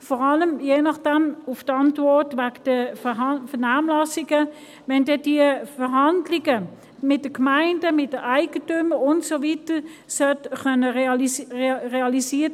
Vor allem, wenn – je nach der Antwort in Bezug auf die Vernehmlassungen – diese Verhandlungen mit den Gemeinden, den Eigentümern und so weiter realisiert werden können sollten.